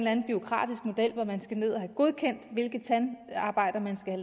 anden bureaukratisk model hvor man skal have godkendt hvilket tandarbejde man skal